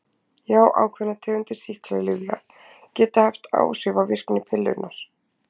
Já, ákveðnar tegundir sýklalyfja geta haft áhrif á virkni pillunnar.